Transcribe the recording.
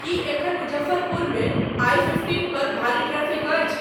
की एखन मुजफ्फरपुर में I fifteen पर भारी ट्रैफिक अछि